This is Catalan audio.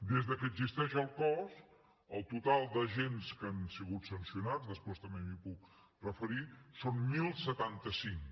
des que existeix el cos el total d’agents que han sigut sancionats després també m’hi puc referir són deu setanta cinc